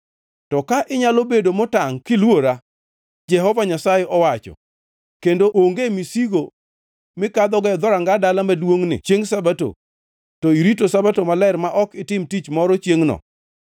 To ka inyalo bedo motangʼ kiluora, Jehova Nyasaye owacho, kendo onge misigo mikadhogo dhoranga dala maduongʼni chiengʼ Sabato, to irito chiengʼ Sabato maler ma ok itimo tich moro chiengʼno,